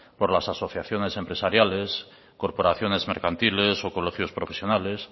por las asociaciones empresariales corporaciones mercantiles o colegios profesionales